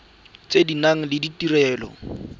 tse di nang le ditirelo